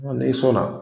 N'i sɔnna